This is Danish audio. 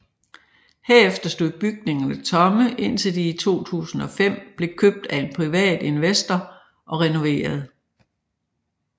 Herefter stod bygningerne tomme indtil de i 2005 blev købt af en privat investor og renoveret